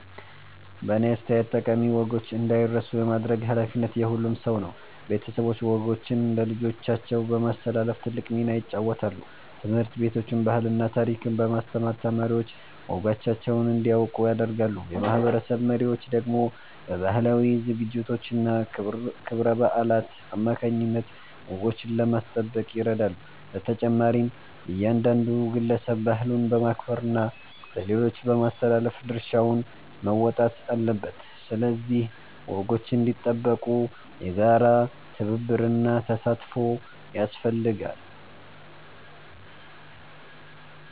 በእኔ አስተያየት ጠቃሚ ወጎች እንዳይረሱ የማድረግ ኃላፊነት የሁሉም ሰው ነው። ቤተሰቦች ወጎችን ለልጆቻቸው በማስተላለፍ ትልቅ ሚና ይጫወታሉ። ትምህርት ቤቶችም ባህልና ታሪክን በማስተማር ተማሪዎች ወጎቻቸውን እንዲያውቁ ያደርጋሉ። የማህበረሰብ መሪዎች ደግሞ በባህላዊ ዝግጅቶችና ክብረ በዓላት አማካይነት ወጎችን ለማስጠበቅ ይረዳሉ። በተጨማሪም እያንዳንዱ ግለሰብ ባህሉን በማክበርና ለሌሎች በማስተላለፍ ድርሻውን መወጣት አለበት። ስለዚህ ወጎች እንዲጠበቁ የጋራ ትብብርና ተሳትፎ ያስፈልጋል።